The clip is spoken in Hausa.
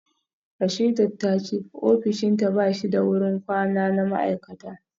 Rasheedat ta ce ofishinta ba shi da wurin kwana na ma’aikata